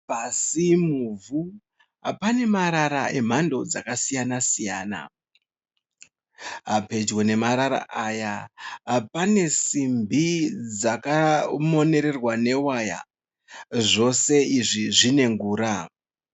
Pasi, muvhu pane marara emhando dzakasiyana siyana. Pedyo nemarara aya pane simbi dzakamonererwa newaya aya, zvose izvi zvine ngura.